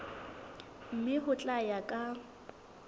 mme ho tla ya ka